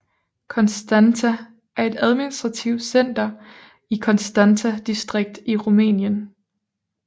Constanța er administrativt center i Constanța distrikt i Rumænien